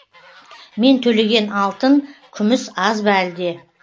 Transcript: мен төлеген алтын күміс аз ба әлде